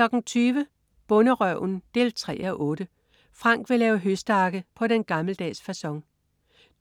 20.00 Bonderøven 3:8. Frank vil lave høstakke på den gammeldags facon